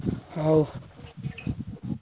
ହଉ।